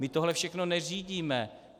My tohle všechno neřídíme.